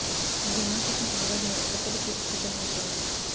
ఈ సినిమా కోసం నాగార్జున కొత్త లుక్ లో సిద్దం అవుతున్నారు